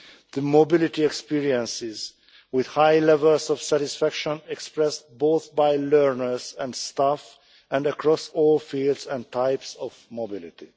the mobility experiences with high levels of satisfaction expressed both by learners and staff and across all fields and types of mobility.